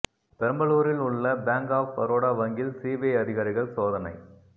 பெரம்பலூரில் உள்ள bank of Baroda வங்கியில் சிபிஐ அதிகாரிகள் சோதனை